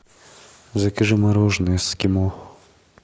закажи мороженое эскимо